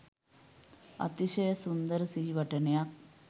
අතිශය සුන්දර සිහිවටනයක්